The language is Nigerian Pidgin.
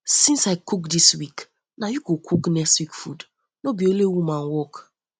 since i cook dis week na you go cook next week food no be only woman work